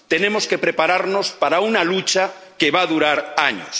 Tenemos que prepararnos para una lucha que va a durar años.